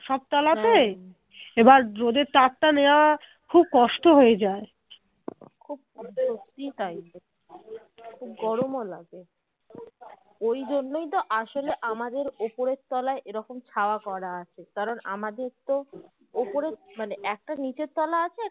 সত্যি তাই খুব গরম ও লাগে ওই জন্যেই তো আসলে আমাদের উপরের তলায় এইরকম ছায়া করা আছে কারণ আমাদের তো উপরে মানে একটা নিচে তোলা আছে